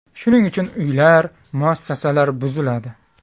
Shuning uchun uylar, muassasalar buziladi.